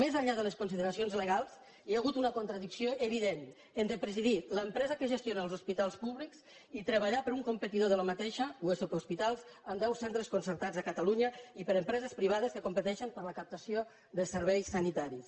més enllà de les consideracions legals hi ha hagut una contradicció evident entre presidir l’empresa que gestiona els hospitals públics i treballar per un competidor d’aquesta usp hospitals amb deu centres concertats a catalunya i per empreses privades que competeixen per la captació de serveis sanitaris